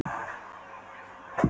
þátt í Ameríku sem hann á sjálfur.